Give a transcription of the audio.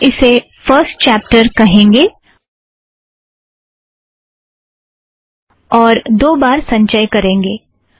हम इसे first chapter कहेंगे और दो बार संचय करेंगे